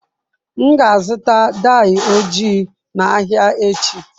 M ga-azụta daị ojii n'ahịa echi.